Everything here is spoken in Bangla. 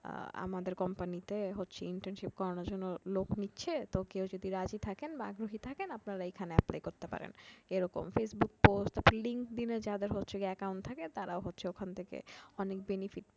আহ আমাদের company তে হচ্ছে internship করানোর জন্য লোক নিচ্ছে তো কেউ যদি রাজি থাকেন বা আগ্রহী থাকেন আপনারা এখানে apply করতে পারেন এরকম। facebook postlinkedin এ যাদের হচ্ছে account থাকে তারা হচ্ছে ওখান থেকে অনেক benefit